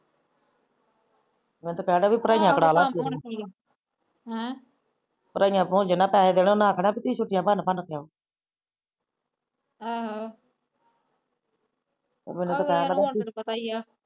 ਮੈ ਕਹਿੰਦਾ ਪੜਾਈਆ ਕਰਾਲਾ ਹਮ ਜਿਨਾ ਪੈਹਾ ਦੇਣਾ ਆਹੋ ਸਾਨੂੰ ਪਤਾਈ